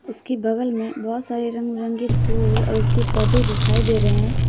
उसकी बगल में बहुत सारे रंग बिरंगे फूल और उसके पौधे दिखाई दे रहे हैं।